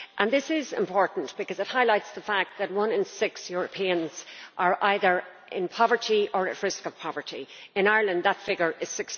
It is important because it highlights the fact that one in six Europeans are either in poverty or at risk of poverty. In Ireland the figure is